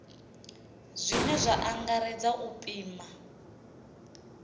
zwine zwa angaredza u pima